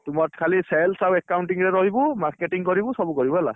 ତୁ ମୋର ଖାଲି sales ଆଉ accounting ରେ ରହିବୁ marketing କରିବୁ ସବୁ କରିବୁ ହେଲା।